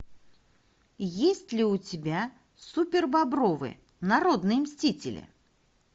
есть ли у тебя супербобровы народные мстители